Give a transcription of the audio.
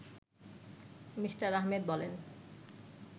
me: Ahmed বলেন